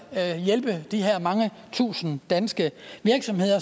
at hjælpe de her mange tusind danske virksomheder